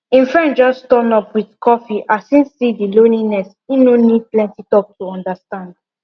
im friend just turn up with coffee as im see the lonliness im no need plenty to understand